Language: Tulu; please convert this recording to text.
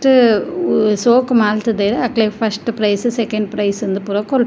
ಅಹ್ ಸೋಕು ಮಂತುದೆರ್ ಅಕ್ಲೆಗ್ ಫರ್ಸ್ಟ್ ಪ್ರೈಸ್ ಸೆಕೆಂಡ್ ಪ್ರೈಸ್ ಇಂದ್ ಪೂರ --